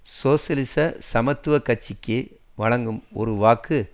சோசியலிச சமத்துவ கட்சிக்கு வழங்கும் ஒரு வாக்கு